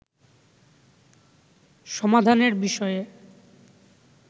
সমাধানের বিষয়ে